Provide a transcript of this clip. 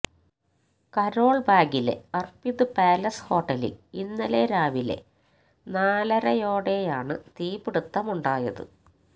carol ബാഗിലെ Arpit palace ഹോട്ടലില് ഇന്നലെ രാവിലെ നാലരയോടെയാണ് തീപിടുത്തമുണ്ടായത്